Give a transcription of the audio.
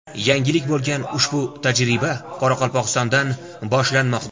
Yangilik bo‘lgan ushbu tajriba Qoraqalpog‘istondan boshlanmoqda.